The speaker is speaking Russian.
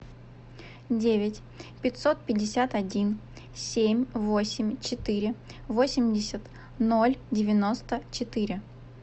девять пятьсот пятьдесят один семь восемь четыре восемьдесят ноль девяносто четыре